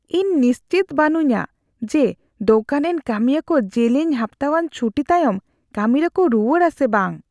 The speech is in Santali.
ᱤᱧ ᱱᱤᱥᱪᱤᱛ ᱵᱟᱹᱱᱩᱧᱟ ᱡᱮ ᱫᱳᱠᱟᱱ ᱨᱮᱱ ᱠᱟᱹᱢᱤᱭᱟᱹ ᱠᱚ ᱡᱮᱞᱮᱧ ᱦᱟᱯᱛᱟᱣᱟᱱ ᱪᱷᱩᱴᱤ ᱛᱟᱭᱚᱢ ᱠᱟᱹᱢᱤ ᱨᱮᱠᱚ ᱨᱩᱣᱟᱹᱲᱟ ᱥᱮ ᱵᱟᱝ ᱾